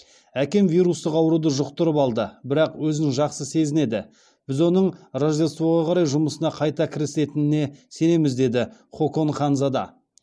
әкем вирустық ауруды жұқтырып алды бірақ өзін жақсы сезінеді біз оның рождествоға қарай жұмысына қайта кірісетініне сенеміз деді хокон ханзада